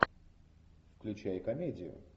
включай комедию